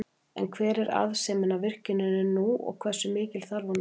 En hver er arðsemin af virkjuninni nú og hversu mikil þarf hún að vera?